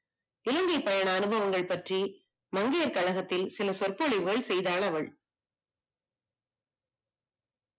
இலங்கை பயண அனுபவங்கள் பற்றி மங்கையர் கழகத்தில் சில சொற்பொழிவை செய்தாள் அவள்